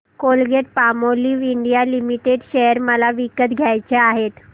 Colgate Palmolive India limited share मला विकत घ्यायचे आहेत